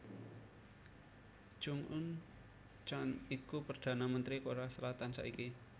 Chung Un chan iku Perdana Mentri Korea Selatan saiki